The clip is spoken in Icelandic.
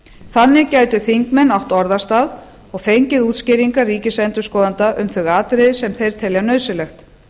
þannig gætu þingmenn átt orðastað og fengið útskýringar ríkisendurskoðanda um þau atriði sem þeir telja nauðsynlegt